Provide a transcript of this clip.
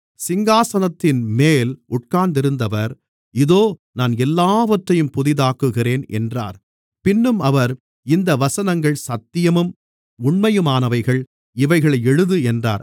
சிங்காசனத்தின்மேல் உட்காருந்திருந்தவர் இதோ நான் எல்லாவற்றையும் புதிதாக்குகிறேன் என்றார் பின்னும் அவர் இந்த வசனங்கள் சத்தியமும் உண்மையுமானவைகள் இவைகளை எழுது என்றார்